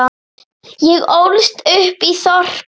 Ég ólst upp í þorpi.